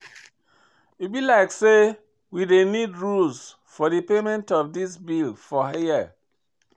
E be like sey we dey need rules for payment of di bills for here.